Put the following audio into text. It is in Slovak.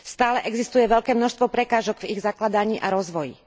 Stále existuje veľké množstvo prekážok v ich zakladaní a rozvoji.